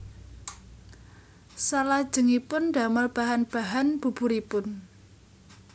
Salajengipun damel bahan bahan buburipun